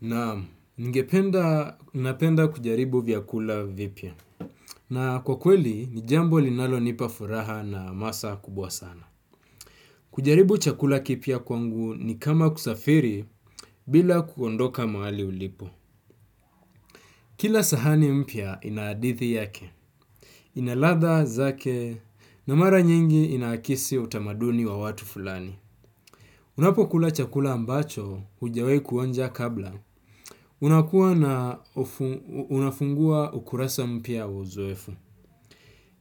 Naam, ningependa kujaribu vyakula vipya. Na kwa kweli, ni jambo linalo nipa furaha na hamasa kubwa sana. Kujaribu chakula kipya kwangu ni kama kusafiri bila kukondoka mahali ulipo. Kila sahani mpya ina hadithi yake. Ina ladha zake na mara nyingi inaakisi utamaduni wa watu fulani. Unapo kula chakula ambacho hujawahi kuonja kabla. Unakuwa unafungua ukurasa mpya uzoefu.